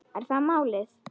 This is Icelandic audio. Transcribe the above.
Er það málið?